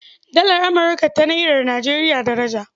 Dalar Amurka ta Nairar Nijeriya daraja.